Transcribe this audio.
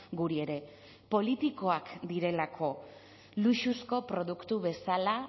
guri ere politikoak direlako luxuzko produktu bezala